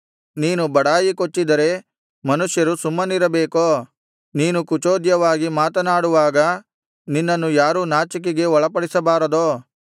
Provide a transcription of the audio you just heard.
ನೀನು ಬಡಾಯಿಕೊಚ್ಚಿದರೆ ಮನುಷ್ಯರು ಸುಮ್ಮನಿರಬೇಕೋ ನೀನು ಕುಚೋದ್ಯವಾಗಿ ಮಾತನಾಡುವಾಗ ನಿನ್ನನ್ನು ಯಾರೂ ನಾಚಿಕೆಗೆ ಒಳಪಡಿಸಬಾರದೋ